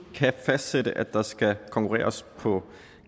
kan fastsætte at der skal konkurreres på